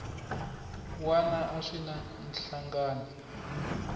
wana a swi na nhlangano